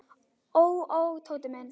Ó, ó, Tóti minn.